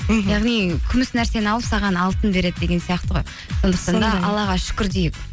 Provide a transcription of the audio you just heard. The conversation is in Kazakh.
мхм яғни күміс нәрсені алып саған алтын береді деген сияқты ғой аллаға шүкір дейік